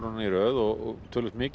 í röð og töluvert mikið